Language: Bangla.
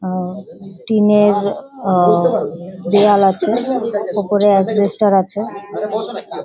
আ টিনের অ-অ দেয়াল আছে ওপরে অ্যাসবেস্টার আছে ।